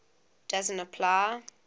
doesn t apply